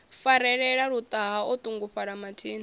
farelela luṱaha o ṱungufhala mathina